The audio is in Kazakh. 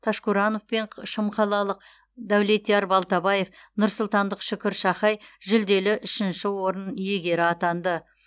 ташкуранов пен шымқалалық дәулетияр балтабаев нұрсұлтандық шүкір шахай жүлделі үшінші орын иегері атанды